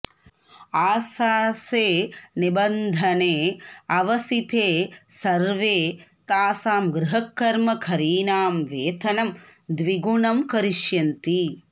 आशासे निबन्धने अवसिते सर्वे तासां गृहकर्मकरीणां वेतनं द्विगुणं करिष्यन्ति